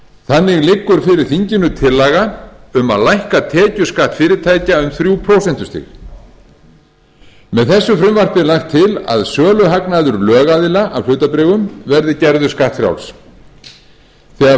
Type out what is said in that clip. þannig liggur fyrir þinginu tillaga um að lækka tekjuskatt fyrirtækja um þrjú prósentustig með þessu frumvarpi er lagt til að söluhagnaður lögaðila af hlutabréfum verði gerður skattfrjáls þegar